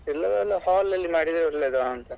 ಇಲ್ಲದ್ರೆ ಎಲ್ಲ hall ಅಲ್ಲಿ ಮಾಡಿದ್ರೆ ಒಳ್ಳೇದಂತ.